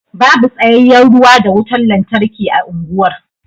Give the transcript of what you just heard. Babu tsayayyen ruwa da wutar lantarki a unguwar.